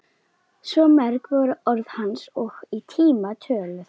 Svo mörg voru orð hans og í tíma töluð.